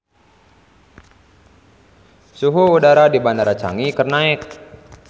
Suhu udara di Bandara Changi keur naek